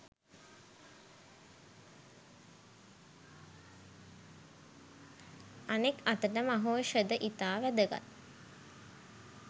අනෙක් අතට මහෞෂධ ඉතා වැදගත්